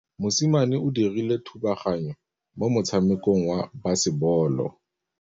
Mosimane o dirile thubaganyô mo motshamekong wa basebôlô.